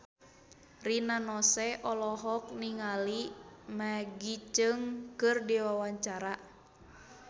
Rina Nose olohok ningali Maggie Cheung keur diwawancara